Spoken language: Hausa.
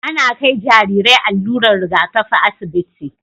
Ana Kai Jarirai allurar Riga kafi asibiti